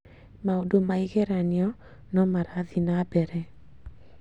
Maũndũ ma igeranio no marathiĩ na mbere